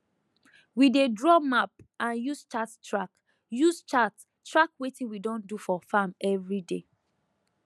we dey draw map and use chart track use chart track wetin we don do for farm everyday